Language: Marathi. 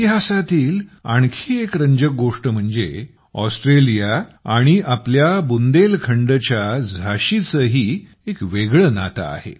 इतिहासातील आणखी एक रंजक गोष्ट म्हणजे ऑस्ट्रेलिया आणि आपल्या बुंदेलखंडच्या झाशीचेही एक वेगळे नाते आहे